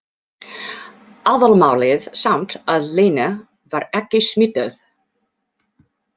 Aðalmálið samt að Lena var ekki smituð.